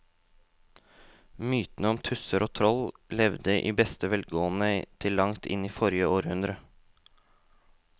Mytene om tusser og troll levde i beste velgående til langt inn i forrige århundre.